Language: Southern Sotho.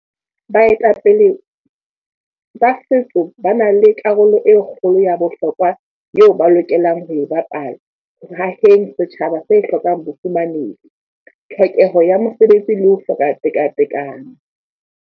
Baetapele sa Setso ba na le karolo e kgolo ya bohlokwa eo ba lokelang ho e bapala ho aheng setjhaba se hlokang bofumanehi, tlhokeho ya mesebetsi le ho hloka tekatekano.